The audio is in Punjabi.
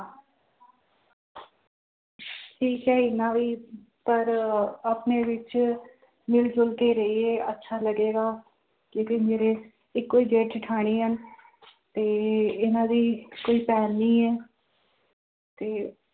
ਠੀਕ ਹੈ ਇੰਨਾ ਵੀ ਪਰ ਆਪਣੇ ਵਿੱਚ ਮਿਲ ਜੁਲ ਕੇ ਰਹੀਏ ਅੱਛਾ ਲੱਗੇਗਾ, ਕਿਉਂਕਿ ਮੇਰੇ ਇੱਕੋ ਹੀ ਜੇਠ ਜੇਠਾਣੀ ਹੈ ਤੇ ਇਹਨਾਂ ਦੀ ਕੋਈ ਭੈਣ ਨੀ ਹੈ ਤੇ